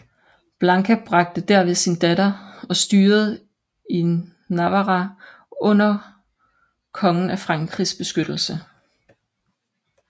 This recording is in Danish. Blanka bragte derved sin datter og styret i Navarra under kongen af Frankrigs beskyttelse